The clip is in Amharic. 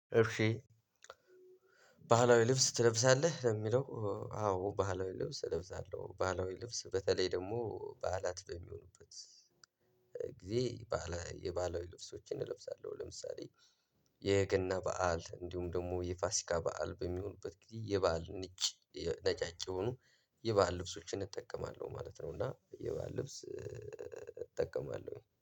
እሺ ባህላዊ ልብስ ትለብሳለህ ለሚለው? አዎ ባህላዊ ልብስ እለብሳለሁ ባህላዊ ልብስ በተለይ ደግሞ በዓላት በሚሆኑበት ጊዜ ባህላዊ የባህላዊ ልብሶችን እለብሳለሁ። ለምሳሌ የገና በዓል እንዲሁም ደግሞ የፋሲካ በዓል በሚሆኑበት ጊዜ የበአል ንጭ ነጫጭ የሆኑ የባል ልብሶችን እጠቀማለሁ ማለት ነው። እና የባህል ልብስ እ እጠቀማለሁ